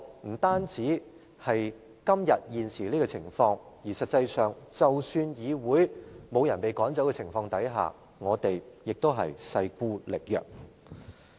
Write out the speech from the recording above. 我們現時人丁單薄；實際上，即使沒有議員被趕走，我們也勢孤力薄。